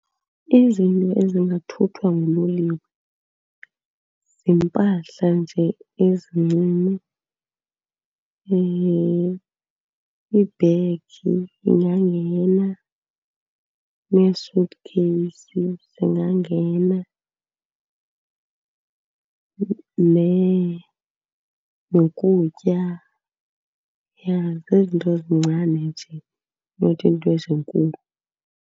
Izinto ezingathuthwa nguloliwe ziimpahla nje ezincinci. Ibhegi ingangena neesuthikheyisi zingangena, nokutya. Ja zezi zinto zincane nje, not iinto ezinkulu.